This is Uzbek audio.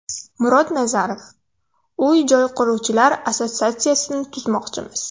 Murod Nazarov: Uy-joy quruvchilar assotsiatsiyasini tuzmoqchimiz.